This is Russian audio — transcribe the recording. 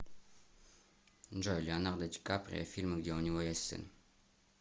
джой леонардо ди каприо фильм где у него есть сын